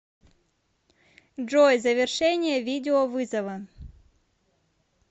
джой завершение видеовызова